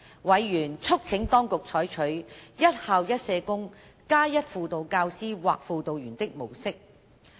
委員促請當局採取"一校一社工加一輔導教師或輔導員"的模式。